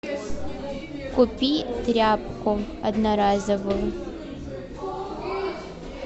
купи тряпку одноразовую